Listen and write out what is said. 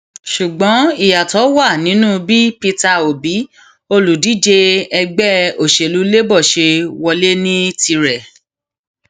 ṣùgbọn ìyàtọ wà nínú bí peter obi olùdíje ẹgbẹ òṣèlú labour ṣe wọlé ní tirẹ